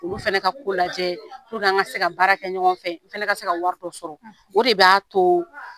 Olu fana ka ko lajɛ an ka se ka baara kɛ ɲɔgɔn fɛ, n fɛnɛ ka se ka wari dɔ sɔrɔ .O de b'a to